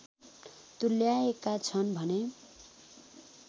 तुल्याएका छन् भने